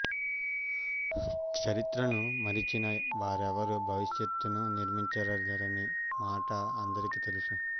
చరిత్రను మరిచిన వారెవ్వరూ భవిష్యత్తును నిర్మించలేరనే మాట అందరికీ తెలుసు